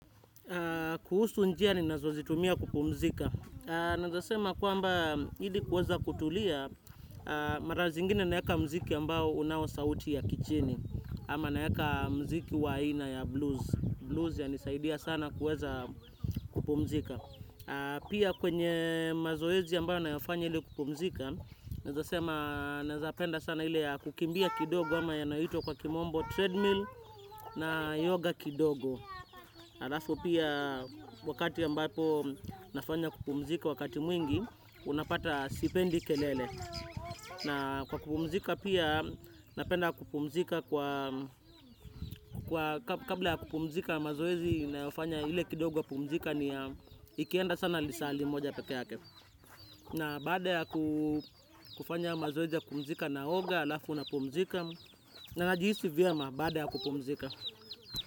Kuhusu njia ninazo zitumia kupumzika. Naeza sema kwamba hili kuweza kutulia mara zingine naeka mziki ambao unawo sauti ya kichini ama naeka mziki wa ina ya blues. Blues ya nisaidia sana kuweza kupumzika. Pia kwenye mazoezi ambayo nayafanya ili kupumzika naeza sema naezapenda sana ile ya kukimbia kidogo ama yanayoitwa kwa kimombo treadmill na yoga kidogo. Alafu pia wakati ambapo nafanya kupumzika wakati mwingi, unapata sipendi kelele. Na kwa kupumzika pia, napenda kupumzika kwa kabla ya kupumzika mazoezi nayofanya ile kidogo ya kupumzika ni ikienda sana lisali moja peke yake. Na baada ya kufanya mazoezi ya kupumzika na oga, alafu napumzika. Najiisi vyema baada ya kupumzika.